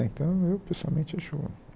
Então eu, pessoalmente, acho